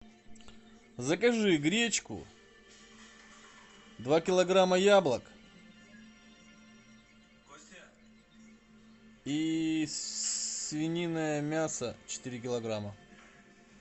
закажи гречку два килограмма яблок и свининое мясо четыре килограмма